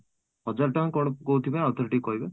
ହଜାର ଟଙ୍କା ଯୋଉ କହୁଥିଲେ ଆଉ ଥରେ ଟିକେ କହିବେ ?